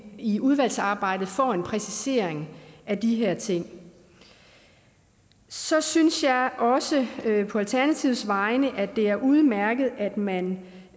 i udvalgsarbejdet får en præcisering af de her ting så synes jeg også på alternativets vegne at det er udmærket at man